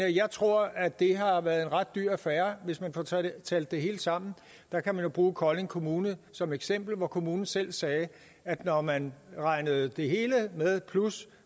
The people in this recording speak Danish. jeg tror at det har været en ret dyr affære hvis man får talt talt det hele sammen man kan jo bruge kolding kommune som eksempel hvor kommunen selv sagde at når man regnede det hele med plus